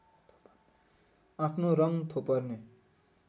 आफ्नो रङ थोपर्ने